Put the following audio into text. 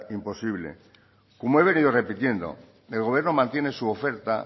imposible como he venido repitiendo el gobierno mantiene su oferta